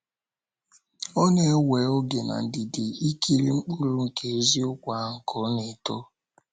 Ọ na - ewe oge na ndidi ikiri mkpụrụ nke eziokwu ahụ ka ọ na - eto.